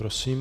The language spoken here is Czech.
Prosím.